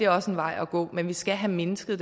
også en vej at gå men vi skal have mindsket